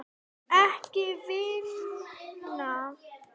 Ekki vinna.